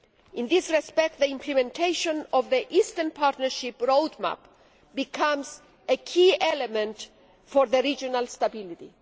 In this respect, the implementation of the Eastern Partnership Roadmap becomes a key element for regional stability.